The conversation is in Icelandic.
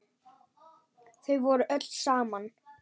Þau voru öll saman.